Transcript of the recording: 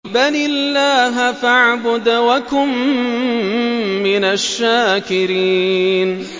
بَلِ اللَّهَ فَاعْبُدْ وَكُن مِّنَ الشَّاكِرِينَ